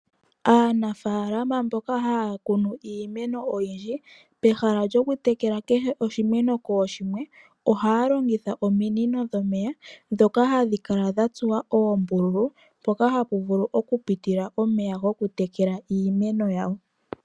Aanafaalama mboka haya kunu iimeno oyindji, peha lyoku tekela oshimeno kooshimwe, ohaya longitha ominino dhomeya ndhoka hadhi kala dha tsuwa oombululu, mpoka hapu vulu oku pitila omeya goku tekela iimeno yawo.